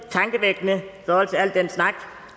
tankevækkende i forhold til al den snak